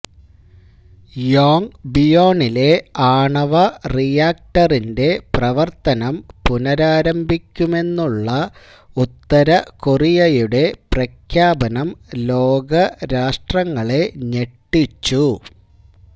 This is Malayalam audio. യോംഗ്ബിയോണിലെ ആണവ റിയാക്ടറിന്റെ പ്രവര്ത്തനം പുനരാരംഭിക്കുമെന്നുള്ള ഉത്തരകൊറിയയുടെ പ്രഖ്യാപനം ലോകരാഷ്ട്രങ്ങളെ ഞെട്ടിച്ചു